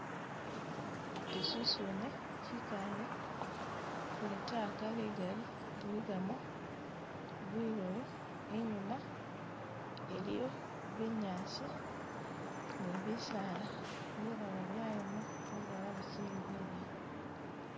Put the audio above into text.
chisusune chikaale kulitaaka ligali liligamo bilulu inyuma iliyo binyaasi ni bisaala bilala byayoma bilala bichili bilayi.